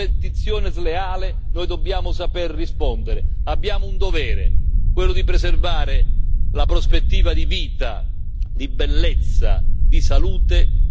Abbiamo un dovere, quello di preservare la prospettiva di vita, di bellezza e di salute per i nostri figli, per i nostri nipoti, per il mondo intero.